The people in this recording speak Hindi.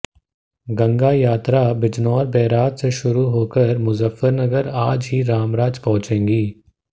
गंगा यात्रा बिजनौर बैराज से शुरू होकर मुजफ्फरनगर आज ही रामराज पहुंचेगी